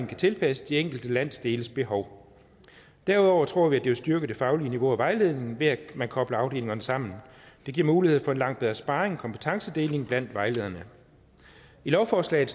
kan tilpasses de enkelte landsdeles behov derudover tror vi at det vil styrke det faglige niveau og vejledningen at man kobler afdelingerne sammen det giver mulighed for en langt bedre sparring og kompetencedeling blandt vejlederne i lovforslaget